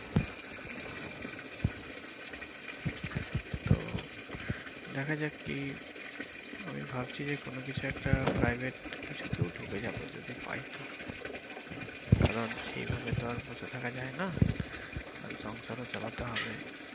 তো দেখা যাক কি আমি ভাবছি যে কোন কিছু একটা private কিছুতেও ঢুকে যাবো যদি পাই তো কারন এইভাবে তো বসে থাকা যায় না কারন সংসারও চালাতে হবে।